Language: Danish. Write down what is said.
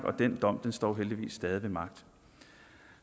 og den dom står heldigvis stadig væk ved magt